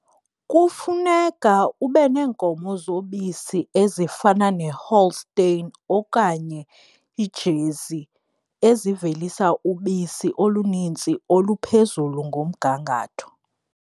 Kufuneka ube neenkomo zobisi ezifana neHolstein okanye iiJersey ezivelisa ubisi olunintsi oluphezulu ngomgangatho.